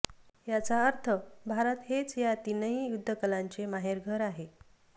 याचा अर्थ भारत हेच या तीनही युद्धकलांचे माहेरघर आहे